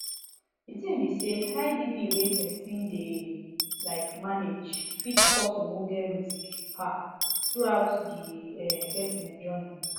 di tin be say high bp wey pesin dey like manage fit cause ogbonge risk um throughout the um pesin journey